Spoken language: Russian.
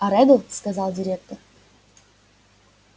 а реддл сказал директор